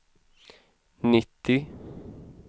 nittio